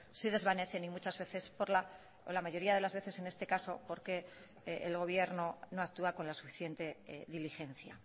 se desvanecen y muchas veces por la mayoría de las veces porque el gobierno no actúa con la suficiente diligencia